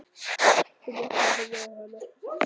Og vakna og horfi á hana.